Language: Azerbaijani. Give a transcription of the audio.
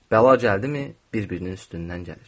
Bəla gəldimi, bir-birinin üstündən gəlir.